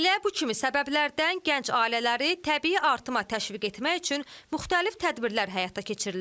Elə bu kimi səbəblərdən gənc ailələri təbii artıma təşviq etmək üçün müxtəlif tədbirlər həyata keçirilir.